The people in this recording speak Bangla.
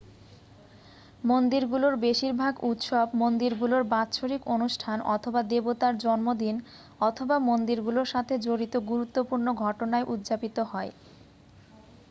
মন্দিরগুলোর বেশিরভাগ উৎসব মন্দিরগুলোর বাৎসরিক অনুষ্ঠান অথবা দেবতার জন্মদিন অথবা মন্দিরগুলোর সাথে জড়িত গুরুত্বপূর্ণ ঘটনায় উদযাপিত হয়